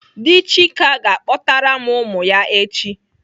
Dị Chika ga-akpọtara m ụmụ ya echi.